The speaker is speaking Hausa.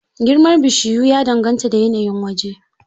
Girmar bishiyu ya dangata da yanayin waje.